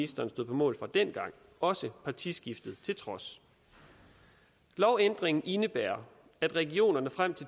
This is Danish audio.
stod på mål for dengang også partiskiftet til trods lovændringen indebærer at regionerne frem til